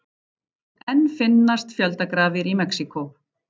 Enn finnast fjöldagrafir í Mexíkó